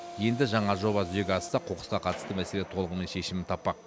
енді жаңа жоба жүзеге асса қоқысқа қатысты мәселе толығымен шешімін таппақ